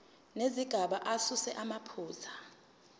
nezigaba asuse amaphutha